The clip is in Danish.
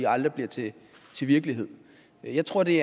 aldrig bliver til virkelighed jeg tror det